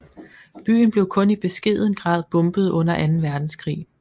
Byen blev kun i beskeden grad bombet under Anden Verdenskrig